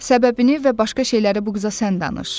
Səbəbini və başqa şeyləri bu qıza sən danış.